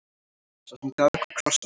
Sá sem gaf ykkur krossana.